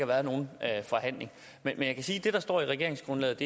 været nogen forhandling men jeg kan sige at det der står i regeringsgrundlaget